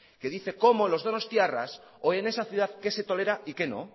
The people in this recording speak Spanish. que dice cómo los donostiarras o en esa ciudad qué se tolera y que no